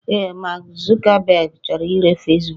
Ee, Mark Zuckerberg chọrọ ire Fesbuku